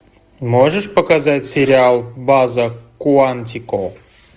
можешь показать сериал база куантико